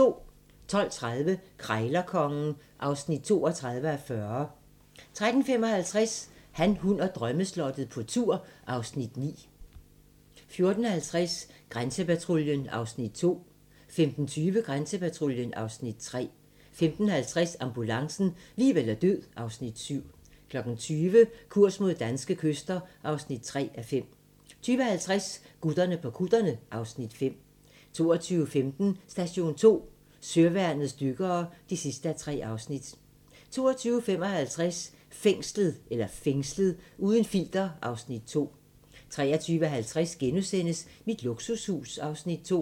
12:30: Krejlerkongen (32:40) 13:55: Han, hun og drømmeslottet - på tur (Afs. 9) 14:50: Grænsepatruljen (Afs. 2) 15:20: Grænsepatruljen (Afs. 3) 15:50: Ambulancen - liv eller død (Afs. 7) 20:00: Kurs mod danske kyster (3:5) 20:50: Gutterne på kutterne (Afs. 5) 22:15: Station 2: Søværnets dykkere (3:3) 22:55: Fængslet - uden filter (Afs. 2) 23:50: Mit luksushus (Afs. 2)*